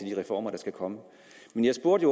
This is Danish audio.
de reformer der kommer men jeg spurgte